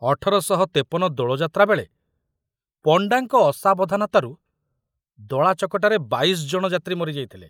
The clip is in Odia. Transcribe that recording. ଅଠର ଶହ ତେପନ ଦୋଳଯାତ୍ରା ବେଳେ ପଣ୍ଡାଙ୍କ ଅସାବଧାନତାରୁ ଦଳାଚକଟାରେ ବାଇଶ ଜଣ ଯାତ୍ରୀ ମରିଯାଇଥିଲେ।